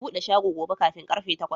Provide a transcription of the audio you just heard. Ka buɗe shago gobe kafin karfe takwas!